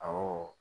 Awɔ